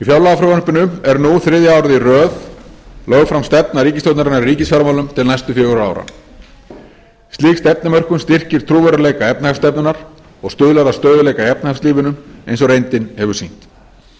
fjárlagafrumvarpinu er nú þriðja árið í röð lögð fram stefna ríkisstjórnarinnar í ríkisfjármálum til næstu fjögurra ára slík stefnumörkun styrkir trúverðugleika efnahagsstefnunnar og stuðlar að stöðugleika í efnahagslífinu eins og reyndin hefur sýnt